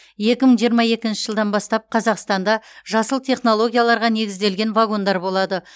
екі мың жиырма екінші жылдан бастап қазақстанда жасыл технологияларға негізделген вагондар болады